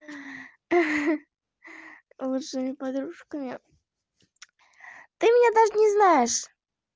лучшими подружками ты меня даже не знаешь